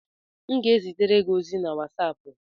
M ga-ezitere gị ozi na wasapu